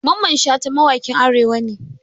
Mamman Shata mawaƙin arewa ne.